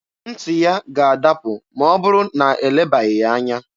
Ntị ya ga-adapụ ma ọ bụrụ na elebaghị ya anya.